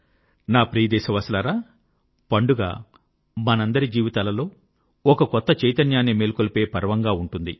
నా ప్రియ దేశవాసులారా పండుగ మనందరి జీవితాలలో ఒక కొత్త చైతన్యాన్ని మేల్కొలిపే పర్వంగా ఉంటుంది